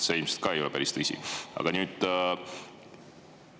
See ilmselgelt ei ole päris tõsine.